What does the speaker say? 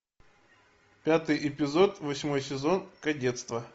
пятый эпизод восьмой сезон кадетство